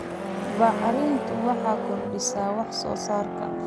Bacrintu waxay kordhisaa wax soo saarka.